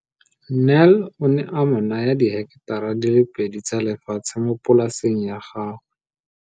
Nel o ne a mo naya diheketara di le pedi tsa lefatshe mo polaseng ya gagwe.